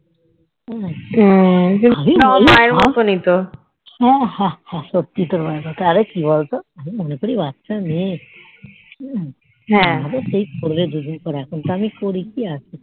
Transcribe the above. হুম হ্যাঁ হ্যাঁ হ্যাঁ সত্যি তোর মায়ের মতো আরে কি বলতো আমি মনে করি বাচ্চা মেয়ে হুম নিজে থেকেই করবে দুইদিন পরে এখন তো আমি করি কি আছে